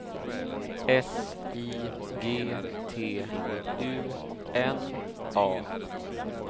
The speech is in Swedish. S I G T U N A